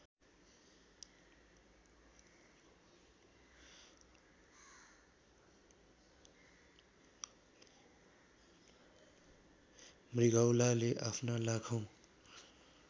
मृगौलाले आफ्ना लाखौ